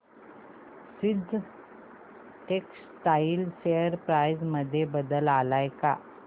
seasons textile share price मध्ये बदल आलाय का